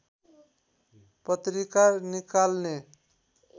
पत्रिका निकाल्ने